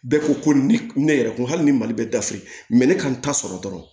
Bɛɛ ko ko ni ne yɛrɛ kun hali ni mali bɛ daf ne kan ta sɔrɔ dɔrɔn